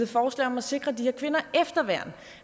forslag om at sikre de her kvinder efterværn